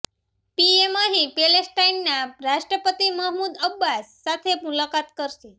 PM અહીં પેલેસ્ટાઈનના રાષ્ટ્રપતિ મહમૂદ અબ્બાસ સાથે મુલાકાત કરશે